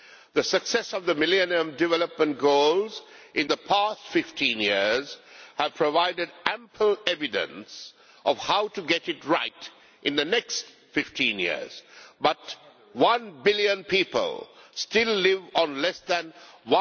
The success of the millennium development goals in the past 15 years has provided ample evidence of how to get it right in the next 15 years, but one billion people still live on less than USD